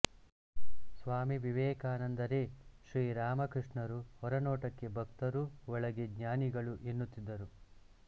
ಸ್ವಾಮಿ ವಿವೇಕಾನಂದರೇ ಶ್ರೀರಾಮಕೃಷ್ಣರು ಹೊರನೋಟಕ್ಕೆ ಭಕ್ತರು ಒಳಗೆ ಜ್ಞಾನಿಗಳು ಎನ್ನುತ್ತಿದ್ದರು